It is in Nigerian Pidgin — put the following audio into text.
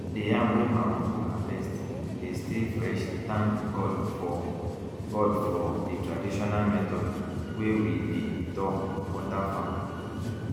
the yam wey my uncle harvest dey stay freshthank god for god for the traditional method wey we dey talk water farm